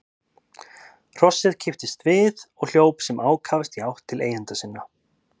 Hrossið kipptist við og hljóp sem ákafast í átt til eigenda sinna.